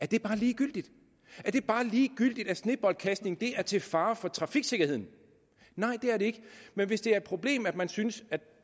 det bare ligegyldigt er det bare ligegyldigt at sneboldkastning er til fare for trafiksikkerheden nej det er det ikke men hvis det er et problem og man synes at